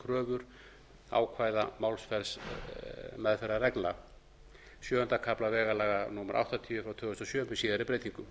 kröfur ákvæða málsmeðferðarreglna sjöunda kafla vegalaga númer áttatíu tvö þúsund og sjö með síðari breytingum